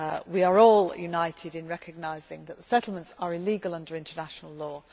We are all united in recognising that the settlements are illegal under international law.